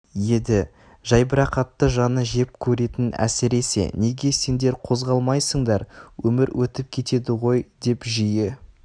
еді жайбіррақаттықты жаны жеп көретін әсіресе неге сендер қозғалмайсыңдар өмір өтіп кетеді ғой деп жиі